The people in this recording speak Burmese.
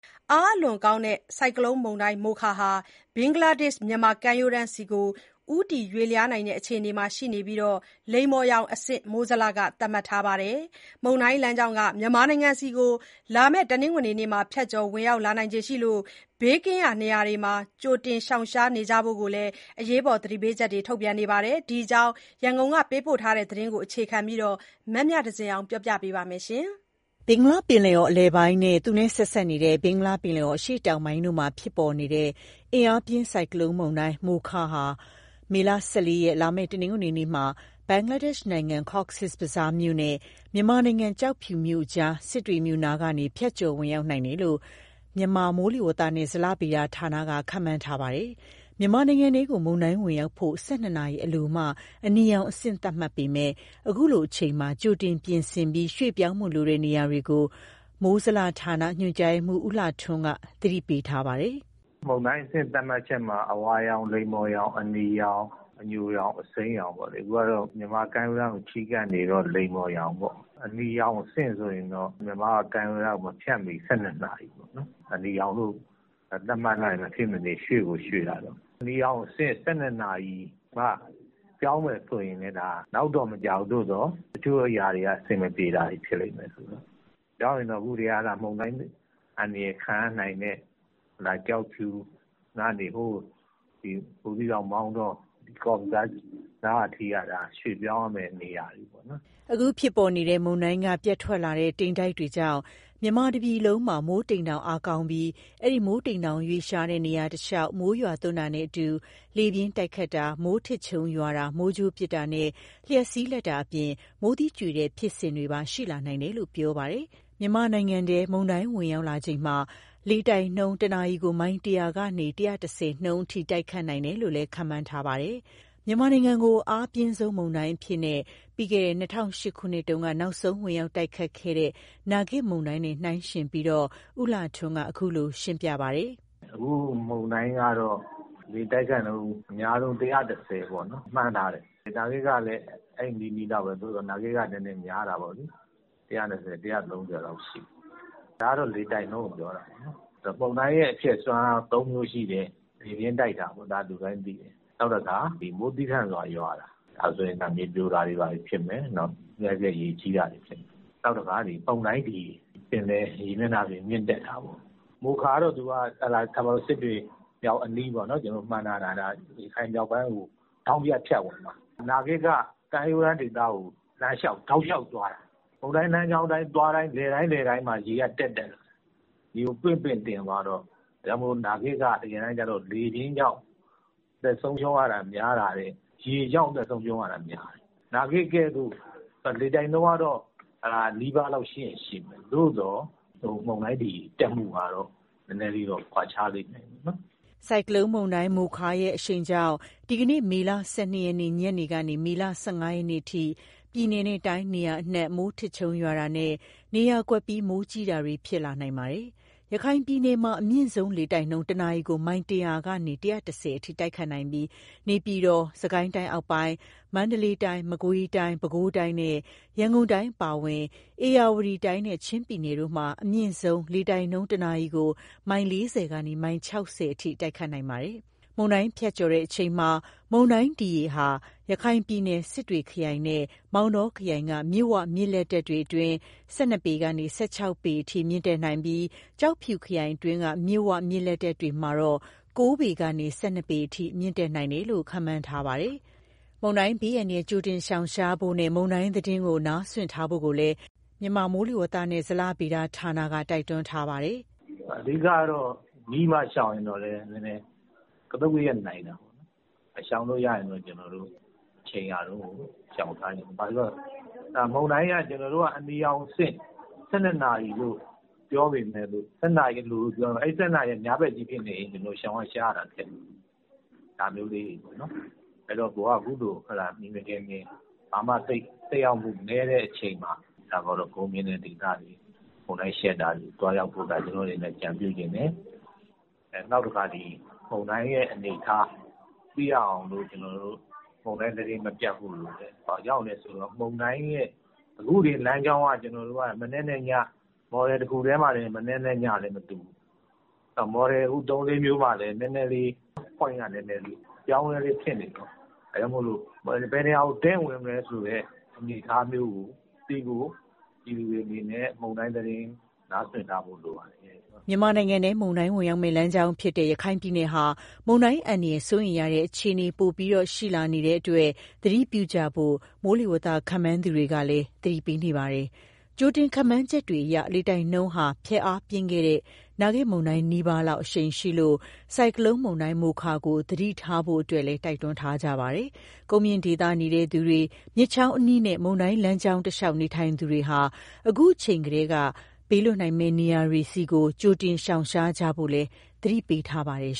အားအလွန်ကောင်းတဲ့ ဆိုင်ကလုန်းမုန်တိုင်း “မိုခါ” ဟာ ဘင်္ဂလားဒေ့ရှ်−မြန်မာကမ်းရိုးတန်းဆီ ဦးတည်ရွေ့လျားနိုင်တဲ့ အခြေအနေရှိနေပြီး လိမ္မော်ရောင်အဆင့် မိုးဇလက သတ်မှတ်ထားပါတယ်။ မုန်တိုင်းလမ်းကြောင်းဟာ မြန်မာနိုင်ငံဆီ လာမယ့် တနင်္ဂနွေနေ့မှာ ဖြတ်ကျော်ဝင်ရောက်လာနိုင်လို့ ဘေးကင်းရာနေရာတွေဆီ ကြိုတင်ရှောင်ရှားနိုင်ဖို့ကိုလည်း သတိပေးချက်တွေ ထုတ်ပြန်ထားပါတယ်။ ဒီအကြောင်း ရန်ကုန်က သတင်းပေးပို့တဲ့သတင်းကို အခြေခံပြီး မမြသဇင်အောင်က ပြောပြမှာပါ။ ဘင်္ဂလားပင်လယ်အော် အလယ်ပိုင်းနဲ့ သူနဲ့ဆက်စပ်နေတဲ့ ဘင်္ဂလားပင်လယ်အော် အရှေ့တောင်ပိုင်းတို့မှာ ဖြစ်ပေါ်နေတဲ့ အားအလွန်ကောင်းတဲ့ ဆိုင်ကလုန်းမုန်တိုင်း Mocha ဟာ မေလ ၁၄ ရက်၊ လာမယ့် တနင်္ဂနွေနေ့မှာ ဘင်္ဂလားဒေ့ရှ်နိုင်ငံ Cox’s bazar မြို့နဲ့ မြန်မာနိုင်ငံ ကျောက်ဖြူမြို့အကြား စစ်တွေမြို့အနီးကနေ ဖြတ်ကျော်ဝင်ရောက်နိုင်တယ်လို့ မြန်မာမိုးလေဝသနဲ့ ဇလဗေဒဌာနက ခန့်မှန်းထားပါတယ်။ မြန်မာနိုင်ငံထဲကို မုန်တိုင်းဝင်ရောက်ဖို့ ၁၂ နာရီအလိုမှ အနီရောင်အဆင့် သတ်မှတ်ပေမယ့် အခုလိုအချိန်မှာ ကြိုတင်ပြင်ဆင်ပြီး ရွှေ့ပြောင်းဖို့လိုတဲ့ နေရာတွေကို မိုးဇလဌာန ညွှန်ကြားရေးမှူး ဦးလှထွန်းက သတိပေးထားပါတယ်။ "မုန်တိုင်းအဆင့် သတ်မှတ်ချက်မှာ အဝါရောင်၊ လိမ္မော်ရောင်၊ အနီရောင်၊ အညိုရောင်၊ အစိမ်းရောင်ပေါ့လေ။ အခုက မြန်မာကမ်းရိုးတန်းကို ချဉ်းကပ်နေတော့ လိမ္မော်ရောင်ပေါ့။ အနီရောင်အဆင့် ဆိုရင်တော့ မြန်မာ့ကမ်းရိုးတန်းကို မဖြတ်မီ ၁၂ နာရီပေါ့။ အနီရောင်လို့ သတ်မှတ်လိုက်ရင် မဖြစ်မနေရွှေ့ကို ရွှေ့ရတော့မယ်။ အနီရောင်အဆင့် ၁၂ နာရီအလိုမှ ပြောင်းမယ် ဆိုရင်လည်း နောက်တော့မကျဘူး။ သို့သော် တချို့အရာတွေက အဆင်မပြေတာတွေ ဖြစ်လိမ့်မယ်။ ပြောင်းရင်တော့ အခုကတည်းက မုန်တိုင်းအန္တရာယ် ခံရနိုင်တဲ့ ကျောက်ဖြူကနေ ဘူးသီးတောင်၊ မောင်တော၊ Cox’s bazar အထိက ရွှေ့ပြောင်းရမယ့် နေရာတွေပေါ့နော်။" အခုဖြစ်ပေါ်နေတဲ့ မုန်တိုင်းကနေ ပြတ်ထွက်လာတဲ့ တိမ်တိုက်တွေကြောင့် မြန်မာတပြည်လုံးမှာ မိုးတိမ်တောင် အားကောင်းနေပြီး၊ အဲဒီ မိုးတိမ်တောင် ရွေ့လျားတဲ့ နေရာတလျှောက်မှာ မိုးရွာသွန်းတာနဲ့အတူ လေပြင်းတိုက်ခတ်တာ၊ မိုးထစ်ချုန်းရွာတာ၊ မိုးကြိုးပစ်တာနဲ့ လျှပ်စီးလက်တာအပြင် မိုးသီးကြွေတဲ့ဖြစ်စဉ်တွေပါ ရှိလာနိုင်တယ်လို့ ပြောပါတယ်။ မြန်မာနိုင်ငံထဲ မုန်တိုင်းဝင်ရောက်လာချိန်မှာ လေတိုက်ခတ်နှုန်းက တနာရီကို မိုင် ၁၀၀ ကနေ ၁၁၀ နှုန်းအထိ တိုက်ခတ်နိုင်တယ်လို့ ခန့်မှန်းထားပါတယ်။ မြန်မာနိုင်ငံကို အားအပြင်းဆုံးမုန်တိုင်းအဖြစ်နဲ့ ပြီးခဲ့တဲ့ ၂၀၀၈ ခုနှစ်က နောက်ဆုံး ဝင်ရောက်တိုက်ခတ်ခဲ့တဲ့ နာဂစ်မုန်တိုင်းနဲ့ နှိုင်းယှဉ်ပြီးတော့လည်း ဦးလှထွန်းက အခုလို ရှင်းပြပါတယ်။ "အခုမုန်တိုင်းကတော့ လေတိုက်ခတ်နှုန်း အများဆုံး ၁၁၀ မှန်းထားတယ်။ နာဂစ်ကတော့ ၁၂၀ - ၁၃၀ လောက်ရှိတော့ နည်းနည်းများတာပေါ့။ ဒါကတော့ လေတိုက်နှုန်းကို ပြောတာပေါ့နော်။ မုန်တိုင်းရဲ့ အဖျက်စွမ်းအားက ၃ မျိုးရှိတယ်။ လေပြင်းတိုက်တာတော့ လူတိုင်းသိတယ်။ နောက်တခုက မိုးသည်းထန်စွာရွာတာ။ ဒါဆိုရင် မြေပြိုတာ၊ ရေကြီးတာတွေ ဖြစ်မယ်။ နောက်တခါ မုန်တိုင်းဒီရေ ပင်လယ်ရေမျက်နှာပြင် မြင့်တက်တာပေါ့။ မိုခါကတော့ စစ်တွေအနီးလို့ ကျနော်တို့အခု မှန်းထားတယ်။ မြောက်ပိုင်းကို သူက ထောင့်ဖြတ် ဖြတ်ဝင်မှာ။ နာဂစ်က ကမ်းရိုးတန်းဒေသကို တောက်လျှောက်သွားတာ။ နာဂစ်တုန်းက မုန်တိုင်းလမ်းကြောင်း သွားတိုင်းမှာ ရေက တက်တက်လာတာ။ ရေကိုပင့် ပင့်တင်သွားတော့ နာဂစ်တုန်းက လေပြင်းကြောင့် အသက်ဆုံးရှုံးရတာ များတာရယ်၊ ရေကြောင့် အသက်ဆုံးရှုံးရတာ များတယ်။ အခု မုန်တိုင်းကလည်း နာဂစ်ကဲ့သို့ လေတိုက်နှုန်းက နီးပါးရှိချင်ရှိမယ်။ သို့သော် မုန်တိုင်းဒီရေ တက်မှုကတော့ နည်းနည်းလေးတော့ ကွာခြားလိမ့်မယ်။" ဆိုင်ကလုန်းမိုခါရဲ့ အရှိန်ကြောင့် ဒီကနေ့ မေလ ၁၂ ရက်နေ့ ညနေကနေ မေလ ၁၅ ရက်နေ့အထိ ပြည်နယ်နဲ့တိုင်း နေရာအနှံ့ မိုးထစ်ချုန်းရွာတာနဲ့ နေရာကွက်ပြီး မိုးကြီးတာတွေ ဖြစ်လာနိုင်ပါတယ်။ ရခိုင်ပြည်နယ်မှာ အမြင့်ဆုံးလေတိုက်နှုန်း တနာရီကို မိုင် ၁၀၀ ကနေ ၁၁၀ အထိ တိုက်ခတ်နိုင်ပြီး နေပြည်တော်၊ စစ်ကိုင်းတိုင်းအောက်ပိုင်း၊ မန္တလေးတိုင်း၊ မကွေးတိုင်း၊ ပဲခူးတိုင်းနဲ့ ရန်ကုန်တိုင်း အပါအဝင် ဧရာဝတီတိုင်းနဲ့ ချငး်ပြည်နယ်တို့မှာ အမြင့်ဆုံးလေတိုက်နှုန်း တနာရီကို မိုင် ၄၀ ကနေ မိုင် ၆၀ အထိ တိုက်ခတ်နိုင်ပါတယ်။ မုန်တိုင်းဖြတ်ကျော်စဉ်မှာ မုန်တိုင်းဒီရေက ရခိုင်ပြည်နယ်၊ စစ်တွေခရိုင်နဲ့ မောင်တောခရိုင်က မြစ်ဝ၊ မြစ်လက်တက်တွေအတွင်း ၁၂ ပေကနေ ၁၆ ပေအထိ မြင့်တက်နိုင်ပြီး၊ ကျောက်ဖြူခရိုင်အတွင်းက မြစ်ဝ၊ မြစ်လက်တက်တွေမှာတော့ ၉ ပေကနေ ၁၂ ပေအထိ မြင့်တက်နိုင်တယ်လို့ ခန့်မှန်းထားပါတယ်။ မုန်တိုင်းဘေးအန္တရာယ် ကြိုတင်ရှောင်ရှားဖို့နဲ့ မုန်တိုင်းသတင်း နားစွင့်ထားဖို့ကိုလည်း မြန်မာမိုးဇလက တိုက်တွန်းထားပါတယ်။ "အဓိကတော့ နီးမှရှောင်ရင်လည်း ကသုတ်ကရက်နိုင်တယ်။ ရှောင်လို့ရရင်တော့ အချိန်ရတုန်းကို ရှောင်ထားပါ။ ဘာလို့ဆို မုန်တိုင်းအနီရောင်အဆင့် ၁၂ နာရီအလို ပြောပေမယ့်လို့ အဲဒီ ၁၂ နာရီက ညဘက်ကြီးဖြစ်နေရင် ရှောင်ရှားရတာခက်တယ်။ အဲတော့ အခုလို မြင်မြင်ထင်ထင် သက်ရောက်မှုနည်းတဲ့ အချိန်မှာ ကုန်းမြင့်တဲ့ဒေသဆီ၊ မုန်တိုင်းကာကွယ်နိုင်တဲ့ နေရာတွေဆီ သွားရောက်ဖို့ကို အကြံပြုချင်တယ်။ နောက်တခုက မုန်တိုင်းအနေအထား သိရအောင်လို့ မုန်တိုင်းသတင်း မပြတ်ဖို့လိုတယ်။ ဘာကြောင့်လဲဆိုတော့ အခုတင် မုန်တိုင်းလမ်းကြောင်းက Model တခုတည်းမှာတင် မနက်နဲ့ညလည်း မတူဘူး။ နောက် Model ၃၊ ၄ မျိုးမှာလည်း Point က အပြောင်းအလဲ ဖြစ်နေတော့ ဘယ်နေရာကို တည့် ဝင်မလဲဆိုတဲ့ အနေအထားမျိုးကိုသိဖို့ ပြည်သူတွေအနေနဲ့ မုန်တိုင်းသတင်း နားစွင့်ထားဖို့ လိုပါတယ်။" မြန်မာနိုင်ငံထဲ မုန်တိုင်းဝင်ရောက်မယ့် လမ်းကြောင်းဖြစ်တဲ့ ရခိုင်ပြည်နယ်ဟာ မုန်တိုင်းအန္တရာယ် စိုးရိမ်ရတဲ့ အခြေအနေ ပိုပြီးရှိလာနေလို့ သတိပြုကြဖို့ မိုးလေဝသ ခန့်မှန်းသူတွေကလည်း သတိပေးနေပါတယ်။ ကြိုတင်ခန့်မှန်းချက်တွေအရ လေတိုက်နှုန်းဟာ ဖျက်အားပြင်းခဲ့တဲ့ နာဂစ်မုန်တိုင်းနီးပါးလောက် အရှိန်ရှိလို့ ဆိုင်ကလုန်းမုန်တိုင်း မိုခါကို သတိထားဖို့ တိုက်တွန်းထားကြပါတယ်။ ကုန်းမြင့်ဒေသနေသူတွေ၊ မြစ်ချောင်းအနီးနဲ့ မုန်တိုင်းလမ်းကြောင်းတလျှောက် နေထိုင်သူတွေဟာ အခုအချိန်ကတည်းက ဘေးလွတ်နိုင်မယ့် နေရာတွေဆီ ကြိုတင်ရှောင်ရှားကြဖို့ကိုလည်း သတိပေးထားပါတယ်